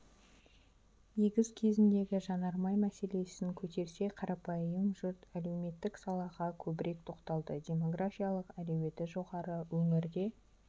егіс кезіндегі жанармай мәселесін көтерсе қарапайым жұрт әлеуметтік салаға көбірек тоқталды демографиялық әлеуеті жоғары өңірде